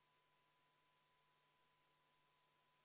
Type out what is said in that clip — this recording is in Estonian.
Igaks juhuks meenutame kodu- ja töökorra seaduse § 133 ja § 134.